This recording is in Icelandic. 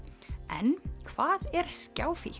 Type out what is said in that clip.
en hvað er